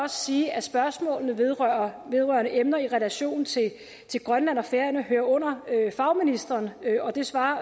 sige at spørgsmål vedrørende vedrørende emner i relation til grønland og færøerne hører under fagministrene og det svarer